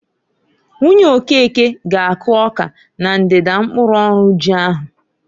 Nwunye Okeke ga akụ ọka na ndida mkpụrụ ọrụ ji ahu.